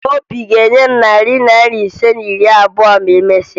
Obi ga-enye m narị naịra ise na iri abụọ ma e mesia